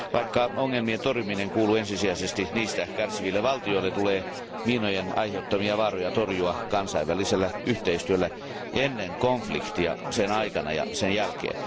Vaikka ongelmien torjuminen kuuluu ensisijaisesti niistä kärsiville valtioille, tulee miinojen aiheuttamia vaaroja torjua kansainvälisellä yhteistyöllä ennen konfliktia, sen aikana ja sen jälkeen.